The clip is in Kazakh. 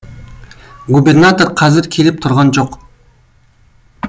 губернатор қазір келіп тұрған жоқ